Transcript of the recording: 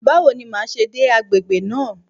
Báwo ni màá ṣe dé agbègbè náà?